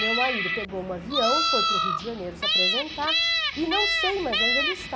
Meu marido pegou um avião, foi para o Rio de Janeiro se apresentar e não sei mais onde ele está.